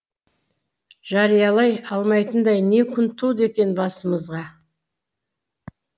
жариялай алмайтындай не күн туды екен басымызға